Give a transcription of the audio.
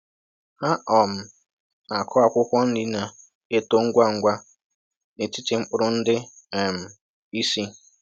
Ha um na-akụ akwụkwọ nri na-eto ngwa ngwa n'etiti mkpụrụ ndị um isi.